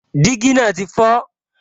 Dígí náà ti fọ